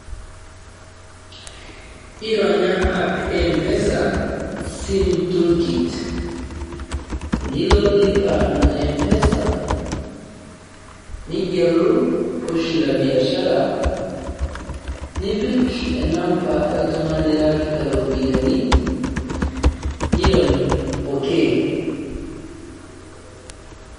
Ironya app empesa, Sim toolkit, nilo lipa na mpesa, negelu poshi la biashara, nipik enamba oltung'ani lirewakita iropiyiani, nirony okay.